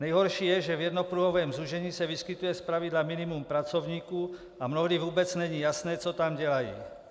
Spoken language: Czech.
Nejhorší je, že v jednopruhovém zúžení se vyskytuje zpravidla minimum pracovníků a mnohdy vůbec není jasné, co tam dělají.